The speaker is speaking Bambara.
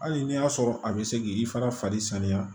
Hali n'i y'a sɔrɔ a bɛ se k'i fana fari saniya